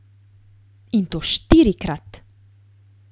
In to štirikrat!